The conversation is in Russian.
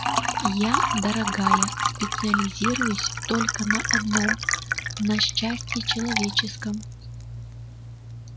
я дорогая специализируюсь только на одном на счастье человеческом